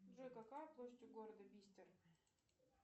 джой какая площадь у города бистер